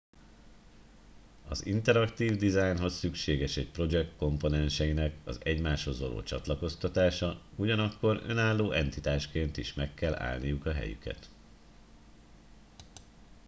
az interaktív dizájnhoz szükséges egy projekt komponenseinek az egymáshoz való csatlakozása ugyanakkor önálló entitásként is meg kell állniuk a helyüket